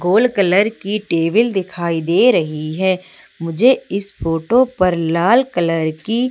gold colour की table दिखाई दे रही है मुझे इस फोटो पर लाल कलर की --